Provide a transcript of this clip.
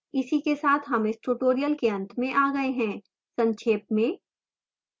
इसी के साथ हम इस tutorial के अंत में आ गए हैं संक्षेप में